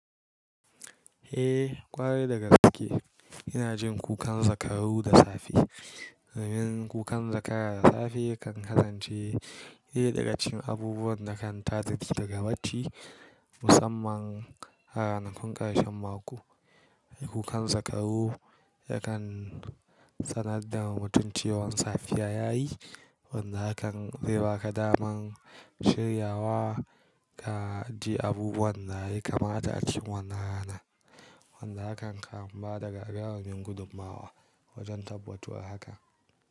Eh, kwarai da gaske. Ina jin kukan zakaru da safe. Ramin kukan zakara da safe kan kasance ɗaya daga cikin abubuwan da kan tazita daga bacci musamman a ranakun ƙarshen mako. Kukan zakaru yakan sanar da mutum cewan safiya yayi wanda hakan zai baka daman shiryawa ka ji abubuwan da zai kamata a cikin wannan rana. Wanda hakan kan ba daga rawanin gudummawa wajen tabbatar haka.